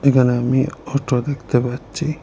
এখানে আমি অটো দেখতে পাচ্ছি।